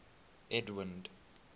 edwind